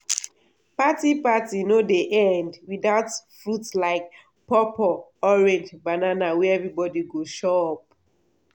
party party no dey end without fruit like pawpaw orange banana wey everybody go chop.